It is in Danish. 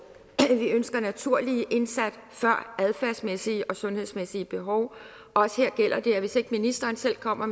vi ønsker naturlige indsat før adfærdsmæssige og sundhedsmæssige behov også her gælder det at hvis ikke ministeren selv kommer